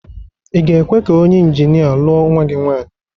Ị ga-ekwe ka onye injinia lụọ nwa gị nwaanyị?